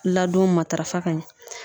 Ladon matarafa ka ɲɛ.